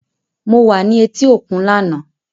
Mo wa ni eti okun lana.